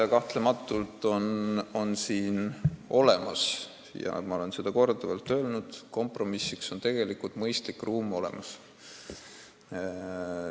Aga kahtlemata on siin olemas, ma olen seda korduvalt öelnud, ruumi mõistlikuks kompromissiks.